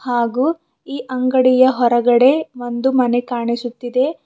ಹಾಗೂ ಈ ಅಂಗಡಿಯ ಹೊರಗಡೆ ಒಂದು ಮನೆ ಕಾಣಿಸುತ್ತಿದೆ.